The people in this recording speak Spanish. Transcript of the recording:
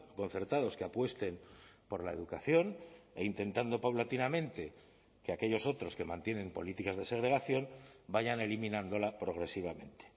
concertados que apuesten por la educación e intentando paulatinamente que aquellos otros que mantienen políticas de segregación vayan eliminándola progresivamente